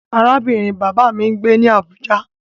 Arábìnrin bàbá mi ń gbé ní Àbújá.